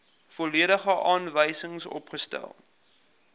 volledige aanwysings opgestel